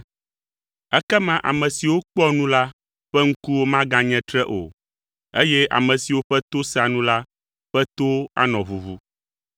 Ekema ame siwo kpɔa nu la ƒe ŋkuwo maganye tre o, eye ame siwo ƒe to sea nu la ƒe towo anɔ ʋuʋu.